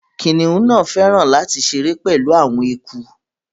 Kiniun náá fẹràn lati ṣere pẹlu awọn eku